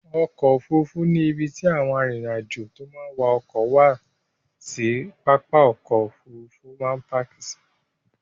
Ọkọ̀ Òfurufú ni ibi tí àwọn arìnrìn-àjò tó máa ń wa ọkọ̀ wá sí pápá Òfurufú máa ń páàkì sí.